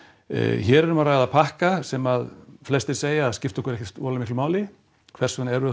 hér er um að ræða pakka sem flestir segja að skipti okkur ekkert voðalega miklu máli hvers vegna erum við